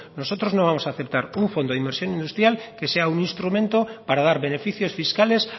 nosotros no vamos a aceptar un fondo de inversión industrial que sea un instrumento para dar beneficios fiscales